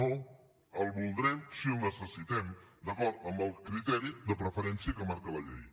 no el voldrem si el necessitem d’acord amb el criteri de preferència que marca la llei